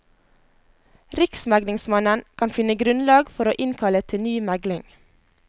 Riksmeglingsmannen kan finne grunnlag for å innkalle til ny megling.